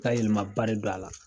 ka yɛlɛmaba de don a la.